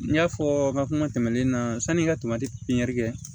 N y'a fɔ n ka kuma tɛmɛnen na sanni n ka tomati pipiɲɛri kɛ